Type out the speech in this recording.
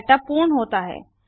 setup पूर्ण होता है